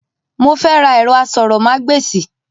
Mo fẹ́ ra ẹ̀rọ asọ̀rọ̀mágbèsì.